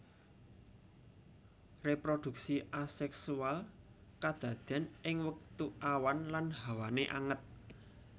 Reproduksi aseksual kadaden ing wektu awan lan hawané anget